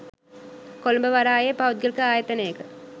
කොළඹ වරායේ පෞද්ගලික ආයතනයක